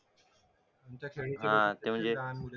तुमच्या खेळीचे हा ते म्हणजे